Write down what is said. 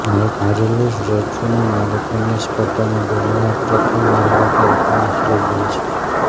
Marie-Louise લેડ્રુને મેરેથોનની સ્પર્ધામાં દોડનાર પ્રથમ મહિલા તરીકેનો શ્રેય જાય છે